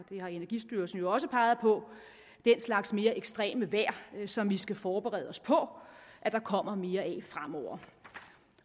har energistyrelsen jo også peget på den slags mere ekstreme vejr som vi skal forberede os på at der kommer mere af fremover